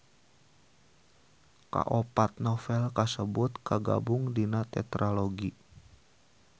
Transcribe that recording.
Kaopat novel kasebut kagabung dina tetralogi.